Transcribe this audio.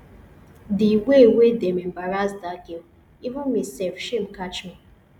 the way wey dem embarrass dat girl even me sef shame catch me